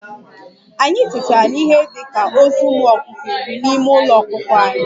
Anyị tetara n'ihe dị ka ozu ụmụ ọkụkọ iri n'ime Ụlọ ọkụkọ anyị